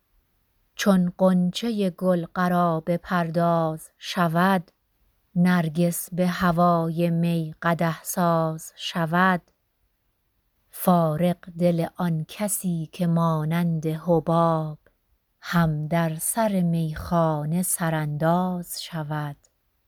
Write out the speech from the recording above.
چون غنچه گل قرابه پرداز شود نرگس به هوای می قدح ساز شود فارغ دل آن کسی که مانند حباب هم در سر میخانه سرانداز شود